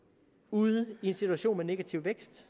ude i en situation med negativ vækst